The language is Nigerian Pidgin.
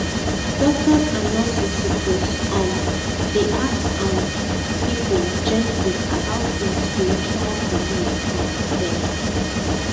doctors and nurses suppose um dey ask um people gently about their spiritual belief um dem